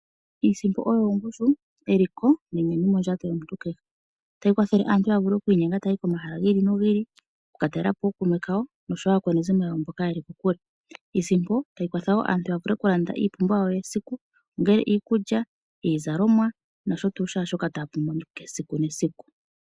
Iisipo oyo ongushu, eliko nenyanyu mondjato yomuntu kehe tayi kwathele aantu ya vule oku inyenga taayi komahala gi ili nogi ili oku ka talela po ookuume kawo nosho wo aakwanezimo yawo mboka yeli kokule, iisipo tayi kwatha aantu ya vule oku landa iipumbiwa yayo yesiku ngele iikulya, iizalomwa nosho tuyu shoka taya pumbwa kehe esiku nesiku.